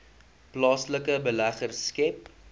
plaaslike beleggers skep